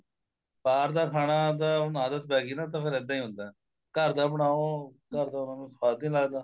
ਬਾਹਰ ਦਾ ਖਾਣਾ ਤਾਂ ਹੁਣ ਆਦਤ ਪੈਗੀ ਨਾ ਤਾਂ ਹੁਣ ਇੱਦਾਂ ਈ ਹੁੰਦਾ ਘਰ ਦਾ ਬਣਾਉ ਘਰ ਦਾ ਉਹਨਾ ਨੂੰ ਸਵਾਦ ਈ ਨਹੀਂ ਲੱਗਦਾ